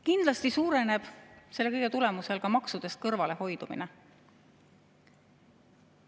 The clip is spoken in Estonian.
Kindlasti suureneb selle kõige tulemusel ka maksudest kõrvalehoidumine.